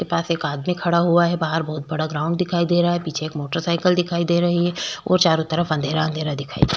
जिसके पास एक आदमी खड़ा हुआ है बाहर बहोत बड़ा ग्राउंड दिखाई दे रहा है पीछे एक मोटर साइकल दिखाई दे रही है और चारो तरफ अँधेरा अँधेरा दिखाई दे रहा है।